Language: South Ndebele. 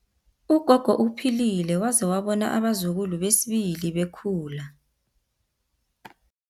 Ugogo uphilile waze wabona abazukulu besibili bekhula.